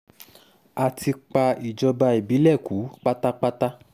a ti pa ìjọba ìbílẹ̀ kú pátápátá